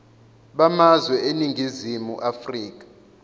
bamazwe eningizimu afrika